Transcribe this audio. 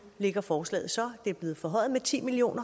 ligger forslaget så det er blevet forhøjet med ti million